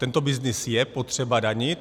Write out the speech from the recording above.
Tento byznys je potřeba danit.